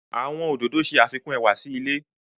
Àwọn ododo ṣe afikun ẹwa si ile